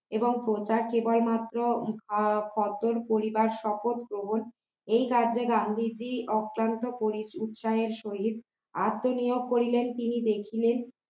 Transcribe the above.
এবং কোনটা কেবলমাত্র সঞ্জন পরিবার শপথ গ্রহণ এই রাজ্যে ক্রান্তি যে অক্লান্ত পরিশ্রমের সহিত আত্মনিয়োগ করিলেন তিনি দেখলেন